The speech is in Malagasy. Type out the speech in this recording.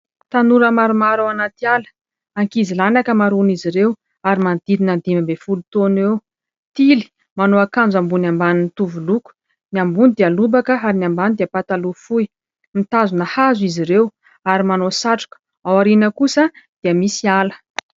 Tanora maromaro ao anaty ala, ankizilahy ny ankamaroan'izy ireo ary manodidina dimy amby folo taona eo, tily manao akanjo ambony ambany mitovy loko, ny ambony dia lobaka ary ny ambany dia pataloha fohy, mitazona hazo izy ireo ary manao satroka aoriana kosa dia misy ala.